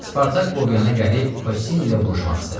Spartak Bovyana gəlib Kossini ilə vuruşmaq istədi.